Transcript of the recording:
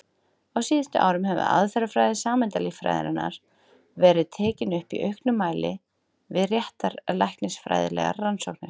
Á síðustu árum hefur aðferðafræði sameindalíffræðinnar verið tekin upp í auknum mæli við réttarlæknisfræðilegar rannsóknir.